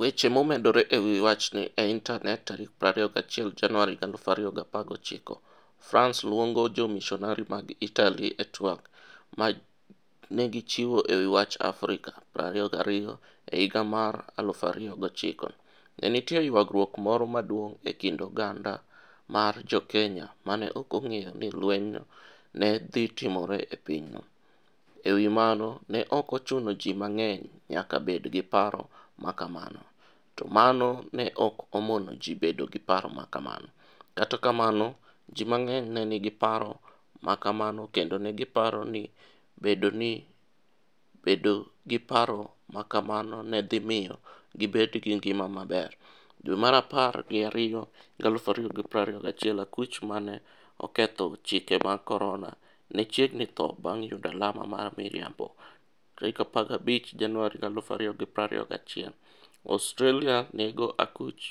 Weche momedore e wi wachni e Intanet 21 Januar, 2019 France luongo jomisonari mag Italy e tweg ma ne gichiwo e wi wach Afrika22 E higa mar 2009, ne nitie ywaruok moro maduong ' e kind oganda mar Jo-Kenya ma ne ok ong'eyo ni lwenyno ne dhi timore e pinyno. E wi mano, ne ok ochuno ni ji mang'eny nyaka bed gi paro ma kamano, to mano ne ok omono ji bedo gi paro ma kamano. Kata kamano, ji mang'eny ne nigi paro ma kamano, kendo ne giparo ni bedo gi paro ma kamano ne dhi miyo gibed gi ngima maber. Dwe mar apar gi ariyo 2021 Akuch 'ma ne oketho chike mag Corona' ne chiegni tho bang' yudo alama mar miriambo 15 Januar 2021 Australia nego akuch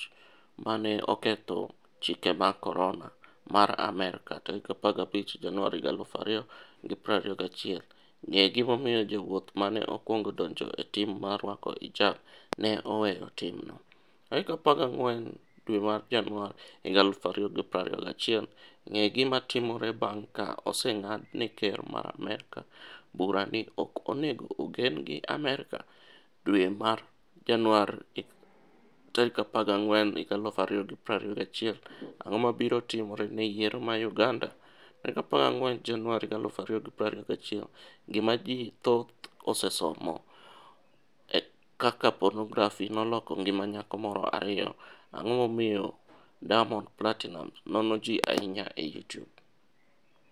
'ma ne oketho chike mag Corona' mar Amerka 15 Januar 2021 Ng'e gimomiyo jawuoth ma ne okwongo donjo e tim mar rwako hijab ne 'oweyo timno' 14 Januar 2021 Ng'e gima timore bang' ka oseng'ad ne ker mar Amerka bura ni ok onego ogen gi Amerka? Dwe mar Januar 14, 2021 Ang'o mabiro timore ne yiero ma Uganda? 14 Januar 2021 Gima Ji Thoth Osesomo 1 Kaka Ponografi Noloko Ngima Nyako Moro 2 Ang'o Momiyo Diamond Platinumz Nono Ji Ahinya e Youtube?